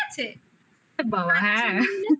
ওরে বাবা হ্যাঁ